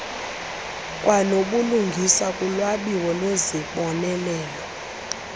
kwanobulungisa kulwabiwo lwezibonelelo